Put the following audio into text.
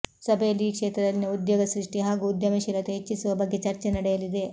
ಸಭೆಯಲ್ಲಿ ಈ ಕ್ಷೇತ್ರದಲ್ಲಿನ ಉದ್ಯೋಗ ಸೃಷ್ಟಿ ಹಾಗೂ ಉದ್ಯಮಶೀಲತೆ ಹೆಚ್ಚಿಸುವ ಬಗ್ಗೆ ಚರ್ಚೆ ನಡೆಯಲಿದೆ